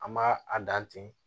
An m'a a dan ten